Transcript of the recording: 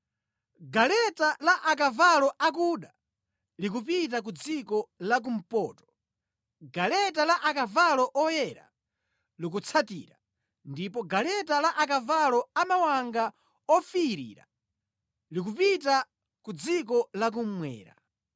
Galeta la akavalo akuda likupita ku dziko la kumpoto, galeta la akavalo oyera likutsatira, ndipo galeta la akavalo amawanga ofiirira likupita ku dziko la kummwera.”